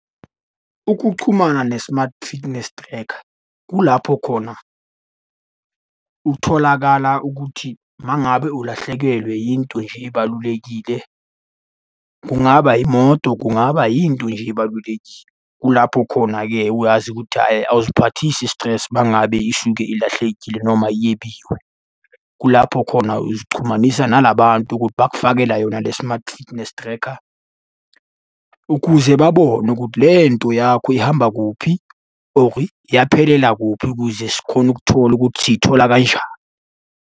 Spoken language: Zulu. Ukuchumana ne-smart fitness tracker, kulapho khona utholakala ukuthi uma ngabe ulahlekelwe yinto nje ebalulekile, kungaba imoto kungaba yinto nje ebalulekile. Kulapho khona-ke wazi ukuthi hhayi awuziphathisi i-stress uma ngabe isuke ilahlekile noma yebiwe. Kulapho khona uzixhumanisa nala bantu ukuthi bakufakela yona le-smart fitness tracker, ukuze babone ukuthi le nto yakho ihamba kuphi, or yaphelela kuphi ukuze sikhone ukuthola ukuthi siyithola kanjani.